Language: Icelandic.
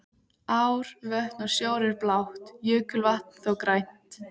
Ár, vötn og sjór er blátt, jökulvatn þó grænt.